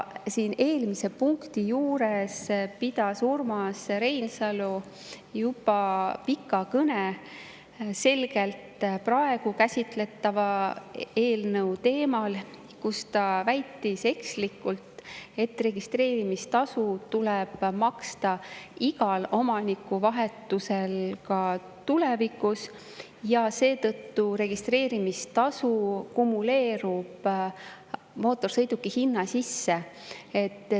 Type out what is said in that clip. Siin eelmise punkti juures pidas Urmas Reinsalu juba pika kõne selgelt praegu käsitletava eelnõu teemal, kus ta väitis ekslikult, et registreerimistasu tuleb maksta igal omanikuvahetusel ka tulevikus ja seetõttu registreerimistasu kumuleerub mootorsõiduki hinna sisse.